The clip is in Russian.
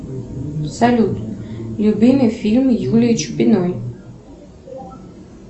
салют любимый фильм юлии чупиной